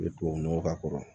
I bɛ tubabunɔgɔ k'a kɔrɔ